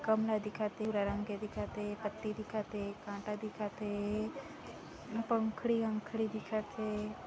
गमला दिखत हे दिखत हे पत्ती दिखत हे कांटा दिखते हे पंखुड़ी वंखुड़ी दिखत हे।